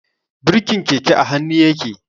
Birkin keke a hannu yake.